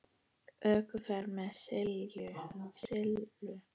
ÖKUFERÐ MEÐ SILLU